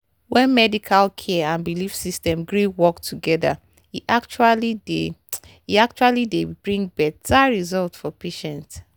when medical care and belief system gree work together e actually dey e actually dey bring better result for patients.